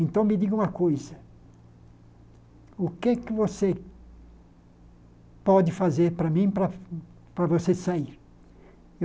Então me diga uma coisa, o que você pode fazer para mim para você sair?